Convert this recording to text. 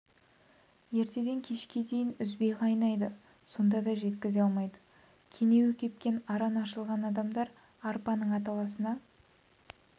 ертеден кешке дейін үзбей қайнайды сонда да жеткізе алмайды кенеуі кепкен араны ашылған адамдар арпаның аталасына